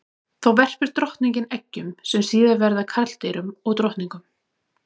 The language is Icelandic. Þá verpir drottningin eggjum sem síðar verða að karldýrum og drottningum.